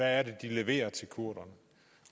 er det de leverer til kurderne